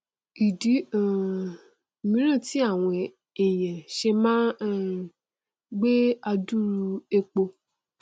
ìdí um míràn tí àwọn èèyàn ṣe máa um ngbé adúrú epo